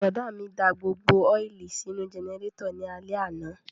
Bùrọ̀dá mi da gbogbo ọ́ìlì sínú jẹnẹrétọ̀ ní alẹ́ àná